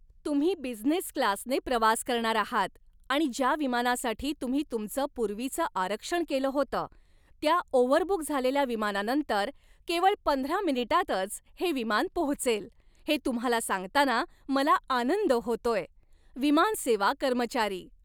तुम्ही बिझनेस क्लासने प्रवास करणार आहात आणि ज्या विमानासाठी तुम्ही तुमचं पूर्वीचं आरक्षण केलं होतं त्या ओव्हरबुक झालेल्या विमानानंतर केवळ पंधरा मिनिटांतच हे विमान पोहोचेल, हे तुम्हाला सांगताना मला आनंद होतोय. विमानसेवा कर्मचारी